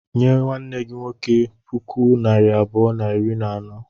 Nye nwanne gi nwoke puku naịra abụọ na iri na anọ.